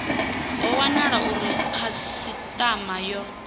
ho wanala uri khasitama yo